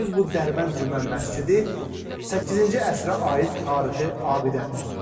Gördüyünüz bu Dərbənd Cümə məscidi 8-ci əsrə aid tarixi abidədir.